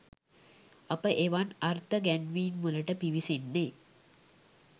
අප එවන් අර්ථ ගැන්වීම්වලට පිවිසෙන්නේ